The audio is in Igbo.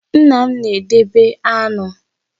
Nna m na-edebe aṅụ